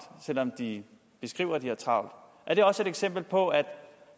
selvom de beskriver at de har travlt er det også et eksempel på at